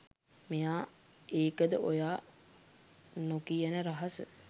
මෙයා ඒකද ඔයා නොකියන රහස